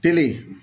Kelen